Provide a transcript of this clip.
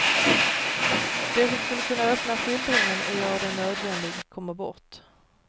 Det som skulle kunna öppna skildringen och göra den nödvändig kommer bort.